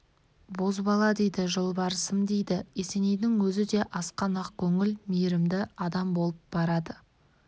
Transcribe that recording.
бозбалама дейді жолбарысым дейді есенейдің өзі де асқан ақкөңіл мейірімді адам болып барады